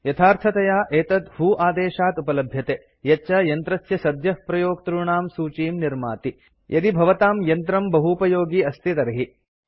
यथार्थतया एतत् व्हो आदेशात् उपलभ्यते यच्च यन्त्रस्य सद्यः प्रयोक्तॄणां सूचीं निर्माति यदि भवताम् यन्त्रं बहूपयोगि अस्ति तर्हि